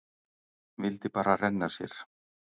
Vildi bara renna sér.